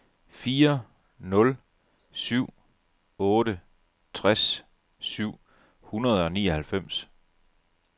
fire nul syv otte tres syv hundrede og nioghalvfems